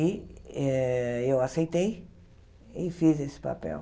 E eh eu aceitei e fiz esse papel.